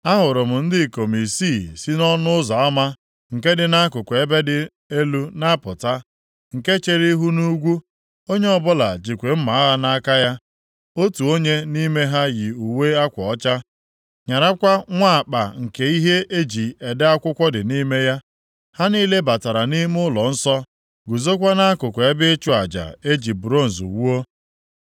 A hụrụ m ndị ikom isii si nʼọnụ ụzọ ama nke dị nʼakụkụ ebe dị elu na-apụta, nke chere ihu nʼugwu, onye ọbụla jikwa mma agha nʼaka ya. Otu onye nʼime ha yi uwe akwa ọcha, nyarakwa nwa akpa nke ihe e ji ede akwụkwọ dị nʼime ya. Ha niile batara nʼime ụlọnsọ, guzokwa nʼakụkụ ebe ịchụ aja e ji bronz wuo.